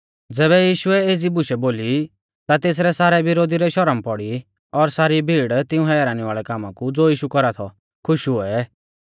ज़ैबै यीशुऐ एज़ी बुशै बोली ता तेसरै सारै विरोधी रै शरम पौड़ी और सारी भीड़ तिऊं हैरानी वाल़ै कामा कु ज़ो यीशु कौरा थौ खुश हुऐ